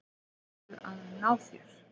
Ert að ná þér.